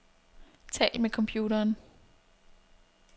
Tal med computeren.